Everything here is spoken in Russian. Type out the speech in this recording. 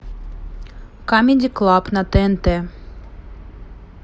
камеди клаб на тнт